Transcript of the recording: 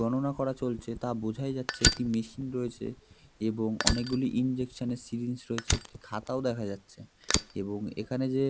গণনা করা চলছে তা বোঝাই যাচ্ছে একটি মেশিন রয়েছে এবং অনেকগুলি ইঞ্জেকশানের সিরিঞ্জ রয়েছে একটি খাতাও দেখা যাচ্ছে এবং এখানে যে